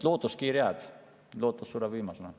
Lootuskiir jääb, lootus sureb viimasena.